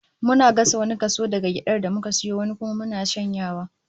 Muna gasa wani kaso daga gyadar da muka sayo, wani kuma muna shanyawa